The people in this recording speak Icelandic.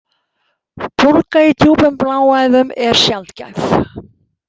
Bólga í djúpum bláæðum er sjaldgæf.